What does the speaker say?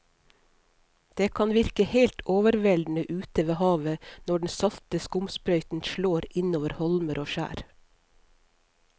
Det kan virke helt overveldende ute ved havet når den salte skumsprøyten slår innover holmer og skjær.